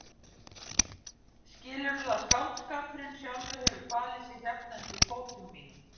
Skilurðu að skáldskapurinn sjálfur hefur falið sig hérna undir fótum mínum?